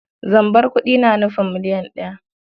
Zambar kuɗi na nufin miliyan ɗaya.